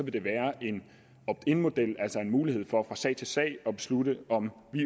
vil være en opt in model altså en mulighed for fra sag til sag at beslutte om vi